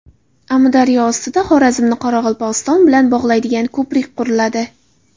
Amudaryo ustida Xorazmni Qoraqalpog‘iston bilan bog‘laydigan ko‘prik quriladi.